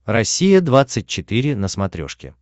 россия двадцать четыре на смотрешке